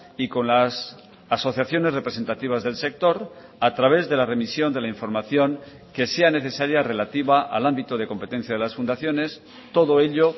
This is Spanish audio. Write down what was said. y con las asociaciones representativas del sector a través de la remisión de la información que sea necesaria relativa al ámbito de competencia de las fundaciones todo ello